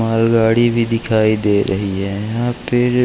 माल गाड़ी भी दिखाई दे रही है यहाँ पे।